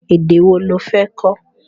Èdè wo lo fẹ́ kó?